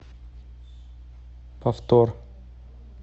повтор